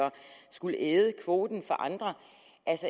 og skulle æde kvoten for andre